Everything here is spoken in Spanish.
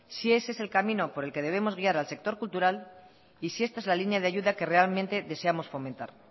si ese es el camino por el que debemos guiar al sector cultural y si esta es la línea de ayuda que realmente deseamos fomentar